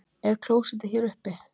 Er klósettið hér uppi?